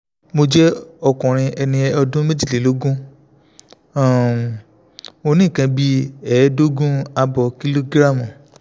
mo jẹ́ ọkùnrin ẹni ọdún méjìlélógún um mo ní nǹkan bí ẹ̀ẹ́dógún ààbọ̀ kìlógíráàmù